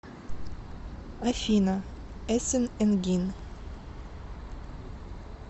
афина эсин энгин